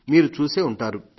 మీరు చూసే ఉంటారు